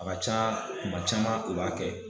A ka ca kuma caman, u b'a kɛ.